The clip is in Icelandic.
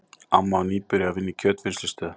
Amma var nýbyrjuð að vinna í kjötvinnslustöð.